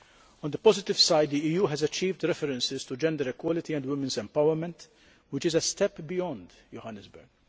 On the positive side the EU has achieved references to gender equality and women's empowerment, which is a step beyond Johannesburg.